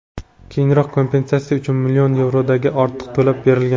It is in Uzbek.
Keyinroq kompensatsiya uchun million yevrodan ortiq to‘lab bergan.